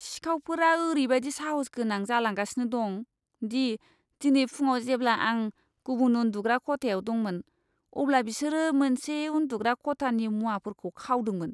सिखावफोरा ओरैबादि साहसगोनां जालांगासिनो दं दि दिनै फुंआव जेब्ला आं गुबुन उन्दुग्रा खथायाव दंमोन, अब्ला बिसोरो मोनसे उन्दुग्रा खथानि मुवाफोरखौ खावदोंमोन।